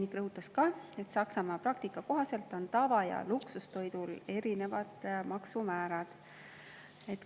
Ta rõhutas ka, et Saksamaa praktika kohaselt on tava‑ ja luksustoidul erinevad maksumäärad.